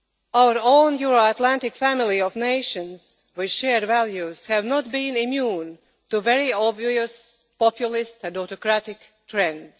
Our own Euro Atlantic family of nations with shared values has not been immune to very obvious populist and authoritarian trends.